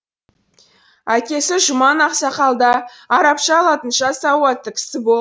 әкесі жұман ақсақал да арабша латынша сауатты кісі бол